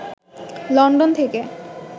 London থেকে